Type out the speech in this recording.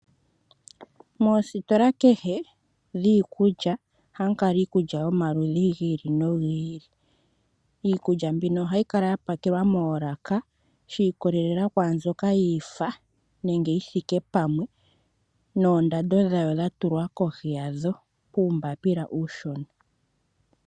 Moositola kehe dhiikulya oha mu kala iikulya yomaludhi gi ili no gi ili. Iikulya mbino oha yi kala ya pakelwa moolaka shiikololela kwaambyoka yiifa nenge yi thiike pamwe noondando dhawo dha tulwa kohi yadho, kuumbapila uushona.